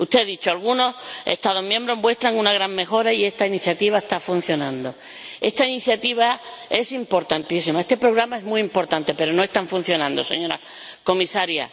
Usted ha dicho que algunos Estados miembros muestran una gran mejora y esta iniciativa está funcionando. Esta iniciativa es importantísima, este programa es muy importante, pero no está funcionando, señora Comisaria.